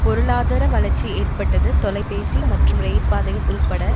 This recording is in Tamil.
பொருளாதார வளர்ச்சி ஏற்பட்டது தொலைபேசி மற்றும் ரயில்பாதைகள் உள்பட